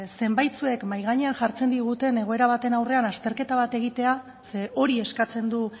zenbaitzuek mahai gainean jartzen ditugunean egoera baten aurrean azterketa bat egitea ze hori eskatzen du